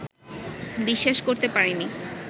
বিশ্বাস করতে পারিনি